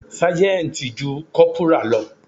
Ságẹ́ńtì ju Kọ́pùrà lọ.